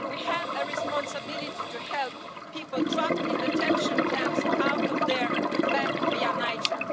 We have a responsibility to help people trapped in detention camps get out of there back via Niger.